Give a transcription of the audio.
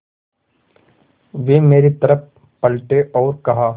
वे मेरी तरफ़ पलटे और कहा